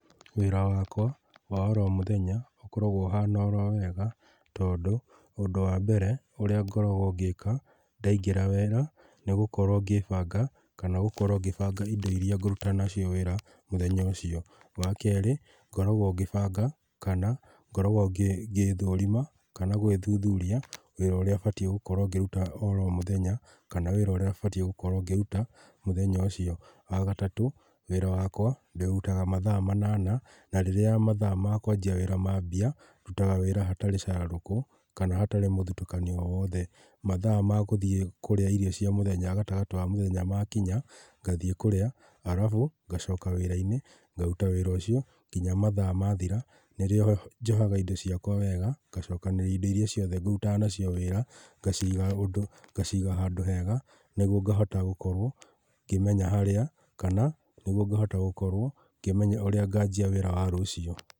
Wĩra wakwa wa oro mũthenya ũkoragwo ũhana oro wega, tondũ ũndũ wa mbere ũrĩa ngoragwo ngĩka ndaingĩra wĩra nĩgukorwo ngĩbanga kana gũkorwo ngĩbanga indo iria ngũrũta nacio wĩra mũthenya ũcio. Wa keri, ngoragwo ngĩbanga kana ngoragwo ngĩthũrima kana gwĩthũthũria wĩra ũrĩa batiĩ gũkorwo ngĩrũta oro mũthenya, kana wĩra ũria batiĩ gũkorwo ngĩrũta mũthenya ũcio. Wa gatatũ, wĩra wakwa ndĩũrũtaga mathaa manana na rĩrĩa mathaa makwanjia wĩra mambia ndutaga wĩra hatarĩ cararũkũ kana hatarĩ mũthũtũkanio owothe. Mathaa magũthiĩ kũrĩa irio cia mũthenya, gatagatĩ ka mũthenya makinya ngathiĩ kũrĩa, arabu ngacoka wĩra-inĩ ngarũta wĩra ũcio nginya mathaa mathira, nĩrĩo njohaga indo ciakwa wega ngacokanĩrĩria indo ciothe ngũrũtaga nacio wĩra, ngaciga handũ hega nĩgũo ngahota gũkorwo ngĩmenya harĩa, kana nĩgũo ngahota gũkorwo ngĩmenya ũrĩa nganjia wĩra wa rũciũ.